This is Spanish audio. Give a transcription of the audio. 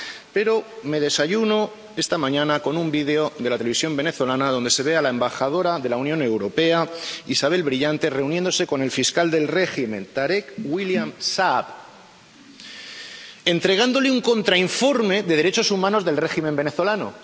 Pero desayuno esta mañana con un vídeo de la televisión venezolana donde se ve a la embajadora de la Unión Europea, Isabel Brillante, reuniéndose con el fiscal del régimen, Tarek William Saab, entregándole un contrainforme de derechos humanos del régimen venezolano.